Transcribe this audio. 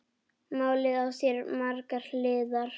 Málið á sér margar hliðar.